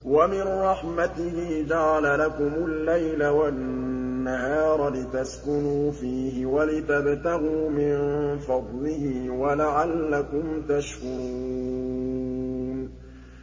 وَمِن رَّحْمَتِهِ جَعَلَ لَكُمُ اللَّيْلَ وَالنَّهَارَ لِتَسْكُنُوا فِيهِ وَلِتَبْتَغُوا مِن فَضْلِهِ وَلَعَلَّكُمْ تَشْكُرُونَ